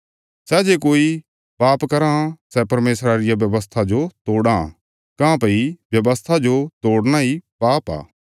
सै जे कोई पाप कराँ सै परमेशरा रिया व्यवस्था जो तोड़ां काँह्भई व्यवस्था जो तोड़ना इ पाप आ